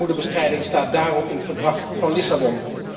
Armoedebestrijding staat daarom in het Verdrag van Lissabon.